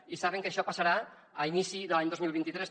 i saben que això passarà a inici de l’any dos mil vint tres